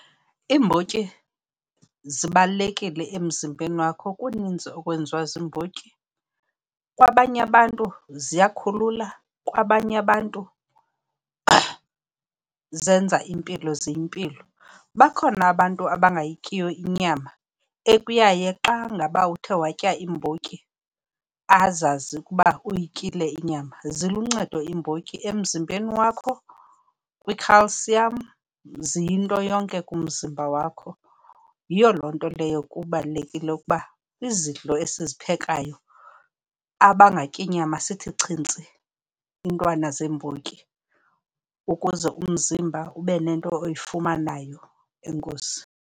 Iimbotyi zibalulekile emzimbeni wakho. Kunintsi okwenziwa ziimbotyi, kwabanye abantu ziyakhulula. Kwabanye abantu zenza impilo, ziyimpilo. Bakhona abantu abangayityiyo inyama ekuyaye xa ngaba uthe watya iimbotyi, azazi ke ukuba uyityile inyama. Ziluncedo iimbotyi emzimbeni wakho kwi-calcium, ziyinto yonke kumzimba wakho. Yiyo loo nto leyo kubalulekile ukuba izidlo esiphekayo, abangatyi nyama sithi chintsi iintwana zeembotyi ukuze umzimba ube nento oyifumanayo. Enkosi.